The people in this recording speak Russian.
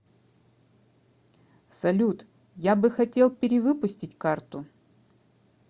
салют я бы хотел перевыпустить карту